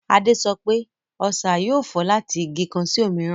Adé sọ pé, Ọṣà yóò fò láti Igi kan sí òmíràn